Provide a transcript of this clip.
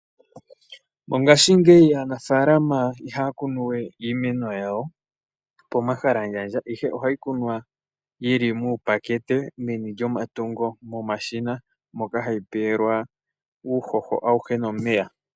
Mongaashingeyi aanafaalama ihaya kunu we iimeno yawo pomahalandjandja ihe oha ye yi kunu yi li muupakate, meni lyomatungo nenge momashina moka hayi pewa uuhoho wa gwana nawa nosho woo omeya.